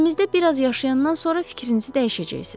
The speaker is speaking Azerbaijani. Şəhərimizdə biraz yaşayandan sonra fikrinizi dəyişəcəksiz.